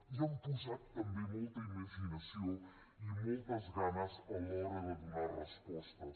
hi han posat també molta imaginació i moltes ganes a l’hora de donar respostes